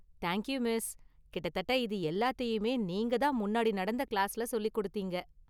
Thank you miss, கிட்டத்தட்ட இது எல்லாத்தையுமே நீங்க தான் முன்னாடி நடந்த கிளாஸ்ல சொல்லிக் கொடுத்தீங்க.